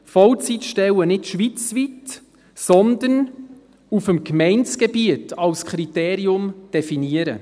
Vollzeitstellen nicht schweizweit, sondern auf dem Gemeindegebiet als Kriterium definieren.